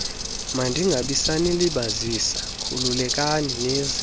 mandingabisanilibazisa khululekani nize